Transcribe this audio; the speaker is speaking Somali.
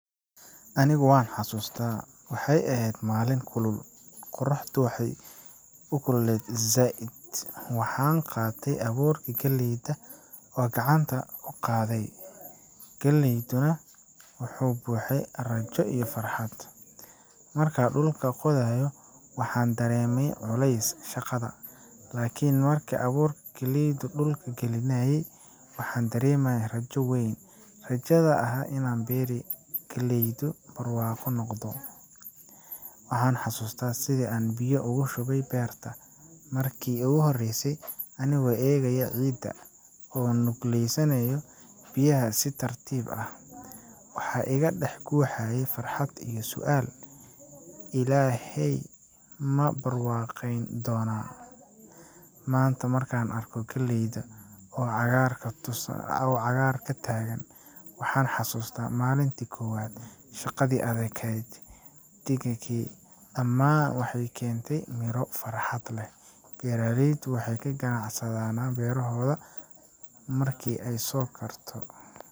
Anigu waan xasuustaa. Waxay ahayd maalin kulul, qorraxdu waxay u kululeed zaid. Waxaan qaatay abuurkii galleyda oo gacanta ku qaaday, galeyduna wuxuu buuxay rajo iyo farxad. Markaan dhulka qodayay, waxaan dareemayay culayska shaqada, laakiin markaan abuurka galleyda dhulka gelinayay, waxaan dareemayay rajo weyn rajada ah in berri uu dalagyadu barwaaqo noqdo. Waxaan xasuustaa sidii aan biyo ugu shubay beerta markii ugu horeysay, anigoo eegaya ciidda oo nuugaysa biyaha si tartiib ah. Waxaa iga dhex guuxayay farxad iyo su’aal: 'Ilaahay ma barwaaqayn doonaa?' Maanta, markaan arko galleyda oo cagaarka ku taagan, waxaan xasuustaa maalintii koowaad. Shaqadii adag, dhididkii, iyo ducadii aan la imid dhammaan waxay keeneen midho iyo farxad. beraleyda waxay ka ganacsanadaana berahooda markii ay soo karto.